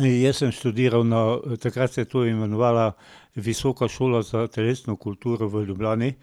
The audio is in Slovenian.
Jaz sem študiral na, takrat se je to imenovala Visoka šola za telesno kulturo v Ljubljani,